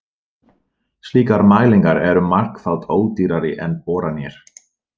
Slíkar mælingar eru margfalt ódýrari en boranir.